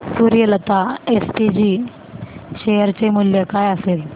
Suryalata SPG share चे मूल्य काय असेल